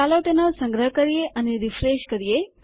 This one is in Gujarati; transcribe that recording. ચાલો તેનો સંગ્રહ કરીએ અને રીફ્રેશ કરીએ